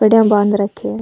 पेड़िया में बांध राख्या है।